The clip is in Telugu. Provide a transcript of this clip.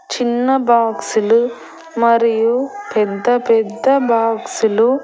చిన్న బాక్సులు మరియు పెద్ద పెద్ద బాక్సులు --